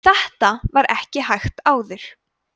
þetta var ekki hægt áður